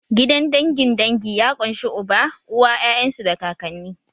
Gidan dangin dangi ya ƙunshi uba, uwa, 'ya'yan su da kakanni